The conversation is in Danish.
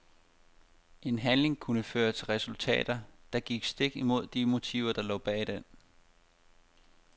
En handling kunne føre til resultater, der gik stik imod de motiver der lå bag den.